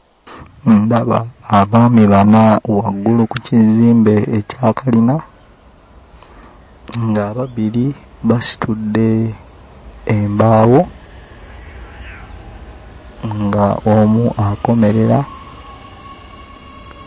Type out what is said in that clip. Ndaba abaami bana waggulu ku kizimbe ekya kalina ng'ababiri basitudde embaawo, ng'omu akomerera.